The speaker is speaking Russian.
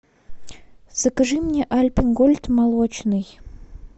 закажи мне альпенгольд молочный